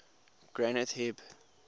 granth hib